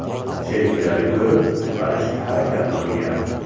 Sheriklari ko‘rib, qutqarishga harakat qilgan.